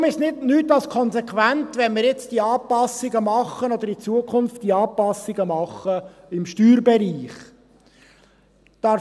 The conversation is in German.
Daher ist es nichts als konsequent, wenn wir in Zukunft diese Anpassungen im Steuerbereich machen.